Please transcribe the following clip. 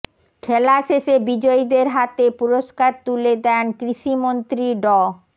খেলা শেষে বিজয়ীদের হাতে পুরস্কার তুলে দেন কৃষিমন্ত্রী ড